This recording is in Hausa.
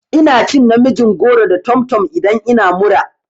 Ina cin namijin goro da tomtom idan ina mura.